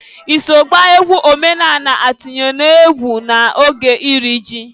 I so gbaa egwu omenanị atinyelu ọgwụ n'oge iri ji?